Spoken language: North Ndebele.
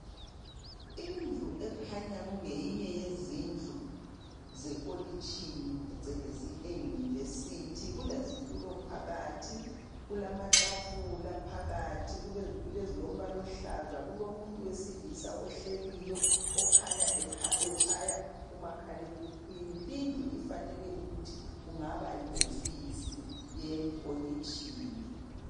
Indlu ekhanya kungeyinye yezindlu zekolitshini phecelezi e University. Kulezitulo phakathi, kulamatafula phakathi. Kulezitulo ezilombala oluhlaza. Kulomuntu wesilisa ohleliyo okhanya etshaya umakhalekhukhwini. Lindlu ifanele ukuthi kungaba yihofisi yekolitshini.